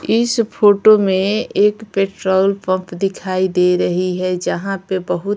इस फोटो में एक पेट्रोल पंप दिखाई दे रही है जहां पे बहुत --